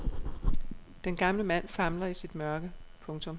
Den gamle mand famler i sit mørke. punktum